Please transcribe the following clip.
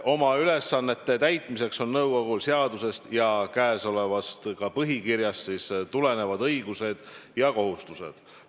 Oma ülesannete täitmiseks on nõukogul seadusest ja käesolevast põhikirjast tulenevad õigused ja kohustused.